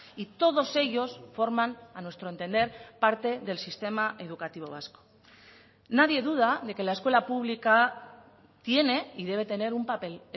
y todos ellos forman a nuestro entender parte del sistema educativo vasco nadie duda de que la escuela pública tiene y debe tener un papel